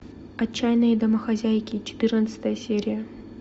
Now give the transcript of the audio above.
отчаянные домохозяйки четырнадцатая серия